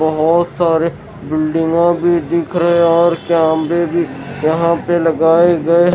बहुत सारे बिल्डिंगा भी दिख रहे हैं और कमेरे भी यहाँ पे लगाए गए --